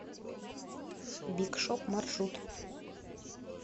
биг шоп маршрут